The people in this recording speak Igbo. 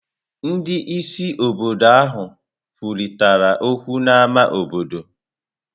Ndị isi obodo ahụ kwurịtara okwu n'ámá obodo.